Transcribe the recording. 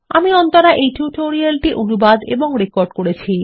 আমি অন্তরা এই টিউটোরিয়াল টি অনুবাদ এবং রেকর্ড করেছি